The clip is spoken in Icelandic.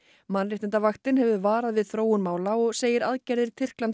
mannréttindavaktin hefur varað við þróun mála og segir aðgerðir